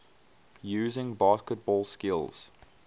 using basketball skills